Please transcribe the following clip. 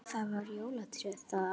Það var jólatré það árið.